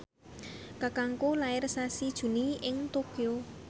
kakangku lair sasi Juni ing Tokyo